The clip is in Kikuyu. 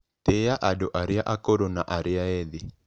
Tĩa andũ arĩa akũrũ na arĩa ethĩ.